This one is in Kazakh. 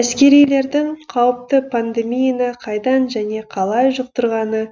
әскерилердің қауіпті пандемияны қайдан және қалай жұқтырғаны